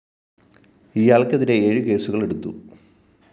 ഇയാള്‍ക്കെതിരെ ഏഴു കേസുകള്‍ എടുത്തു